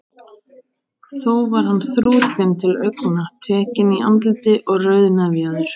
Þó var hann þrútinn til augna, tekinn í andliti og rauðnefjaður.